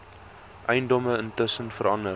eiendom intussen verander